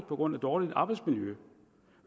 på grund af dårligt arbejdsmiljø